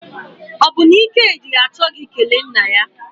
Ọ bụ na Ikedi achọghị ikele nna ya?